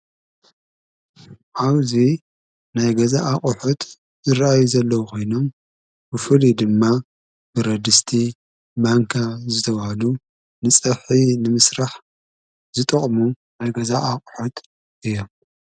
አውዙይ ናይ ገዛ ኣቝሑት ዝረአዩ ዘለዉ ኾይኖም ።፤ብፉልይ ድማ ብረድስቲ ማንካ ዝተዋሉ ንጸፍሕ ንምስራሕ ዝጠቕሙ ናይ ገዛ ኣቝሑት እዩ።